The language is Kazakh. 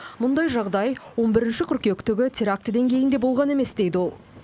мұндай жағдай он бірінші қыркүйектегі терактіден кейін де болған емес дейді ол